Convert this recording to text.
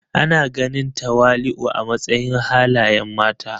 Ana ganin tawali'u a matsayin halayen mata.